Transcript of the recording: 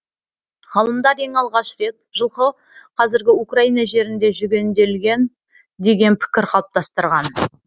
ғалымдар ең алғаш рет жылқы қазіргі украина жерінде жүгенделген деген пікір қалыптастырған